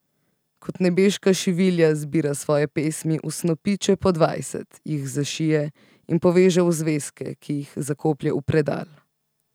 Kot nebeška šivilja zbira svoje pesmi v snopiče po dvajset, jih zašije in poveže v zvezke, ki jih zakoplje v predal.